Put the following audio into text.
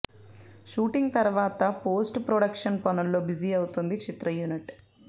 shooting తర్వాత post production పనుల్లో busy అవుతుంది చిత్ర యూనిట్